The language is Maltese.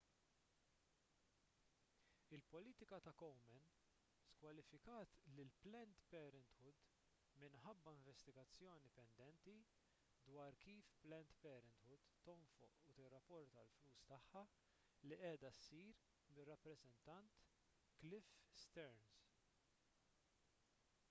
il-politika ta' komen skwalifikat lil planned parenthood minħabba investigazzjoni pendenti dwar kif planned parenthood tonfoq u tirrapporta l-flus tagħha li qiegħda ssir mir-rappreżentant cliff stearns